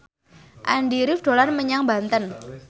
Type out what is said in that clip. Andy rif dolan menyang Banten